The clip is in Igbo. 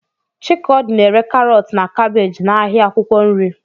Chikodi na-ere karọt na kabeeji n'ahịa akwụkwọ nri.